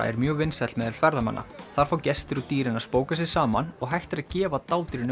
er mjög vinsæll meðal ferðamanna þar fá gestir og dýrin að spóka sig saman og hægt er að gefa